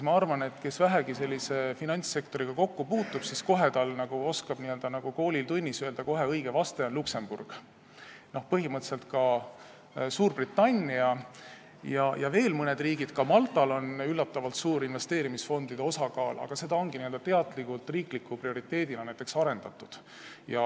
Ma arvan, et kes on vähegi finantssektoriga kokku puutunud, oskab kohe nagu koolitunnis öelda, et õige näide on Luksemburg, põhimõtteliselt ka Suurbritannia ja veel mõned riigid, ka Maltal on üllatavalt suur investeerimisfondide osakaal, aga seda ongi seal teadlikult riikliku prioriteedina arendatud.